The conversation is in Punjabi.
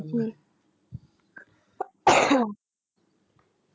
ਹਮ